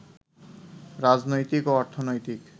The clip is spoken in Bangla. রাজনৈতিক ও অর্থনৈতিক